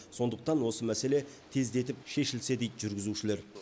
сондықтан осы мәселе тездетіп шешілсе дейді жүргізушілер